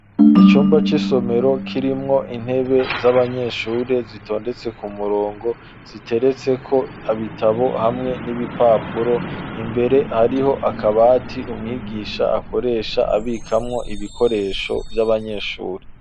Icumba c'isomero, kirimwo intebe, z'abanyeshure, zitondetse ku murongo, ziteretseko ibitabo, hamwe n'ibipapuro; imbere, hariho akabati, umwigisha akoresha, abikamwo ibikoresho vy'abanyeshure.